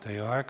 Teie aeg!